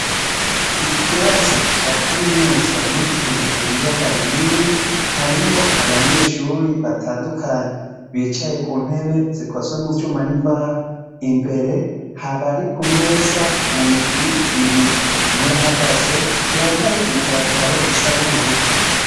Iki kirasi ca kaminuza yitiriwe ibiyaga binini, harimwo abanyeshure batandukanye bicaye ku ntebe zikozwe mu vyuma n'imbaho, imbere harabari kumeza mu migwi ibiri. N'uwuhagaze yambaye i pataro isa nubururu.